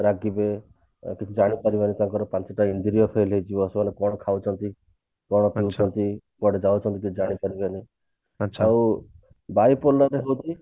ରାଗିବେ କିଛି ଜାଣିପାରିବେନି ତାଙ୍କର ପାଞ୍ଚଟା ଇନ୍ଦ୍ରିୟ fail ହେଇଯିବ ସେମାନେ କଣ ଖାଉଛନ୍ତି କଣ ପିଉଛନ୍ତି କୁଆଡେ ଯାଉଛନ୍ତି କିଛି ଜାଣି ପାରିବେନି ଆଉ bipolar ହଉଛି